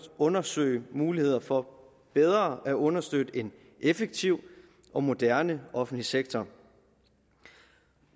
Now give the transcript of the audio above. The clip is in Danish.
undersøge muligheder for bedre at understøtte en effektiv og moderne offentlig sektor